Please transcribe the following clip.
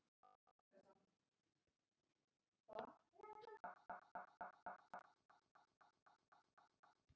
Ég hef prófað allt!